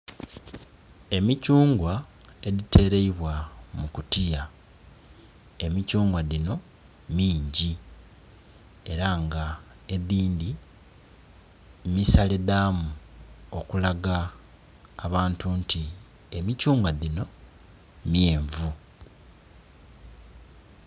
Emichungwa edhiteleibwa mu kutiya, emichungwa dhino mingi era nga edhindhi misale dhamu okulaga abantu nti emichungwa dhino myenvu